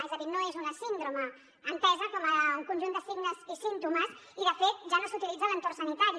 és a dir no és una síndrome entesa com un conjunt de signes i símptomes i de fet ja no s’utilitza en l’entorn sanitari